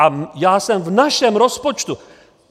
A já jsem v našem rozpočtu...